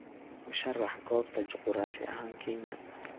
u sharax goobta juquraafi ahaan kenya